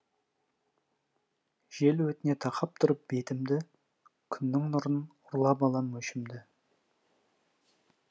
жел өтіне тақап тұрып бетімді күннің нұрын ұрлап алам өшімді